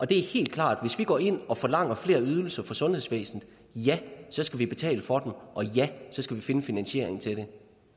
det er helt klart at hvis vi går ind og forlanger flere ydelser fra sundhedsvæsenet så skal vi betale for dem og så skal vi finde finansieringen til